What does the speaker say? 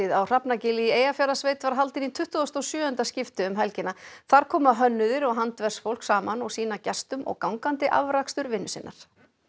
á Hrafnagili í Eyjafjarðarsveit var haldin í tuttugasta og sjöunda skipti um helgina þar koma hönnuðir og handverksfólk saman og sýna gestum og gangandi afrakstur vinnu sinnar